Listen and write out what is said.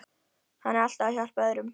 Hann er alltaf að hjálpa öðrum.